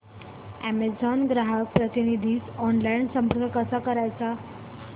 Amazon ग्राहक प्रतिनिधीस online संपर्क कसा करायचा